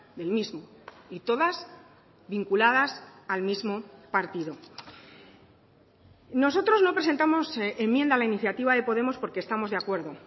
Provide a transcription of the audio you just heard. del mismo y todas vinculadas al mismo partido nosotros no presentamos enmienda a la iniciativa de podemos porque estamos de acuerdo